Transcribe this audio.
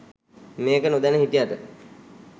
මේක නොදැන හිටියට